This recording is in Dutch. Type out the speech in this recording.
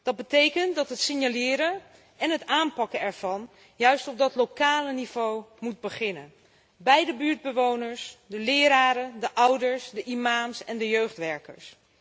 Dat betekent dat het signaleren en het aanpakken ervan juist op dat lokale niveau moet beginnen bij de buurtbewoners, de leraren, de ouders, de imams en de jeugdwerkers.